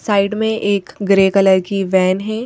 Side में एक grey colour की वैन है।